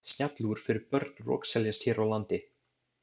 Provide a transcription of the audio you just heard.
Snjallúr fyrir börn rokseljast hér á landi.